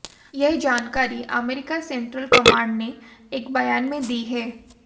यह जानकारी अमेरिकी सेंट्रल कमांड ने एक बयान में दी है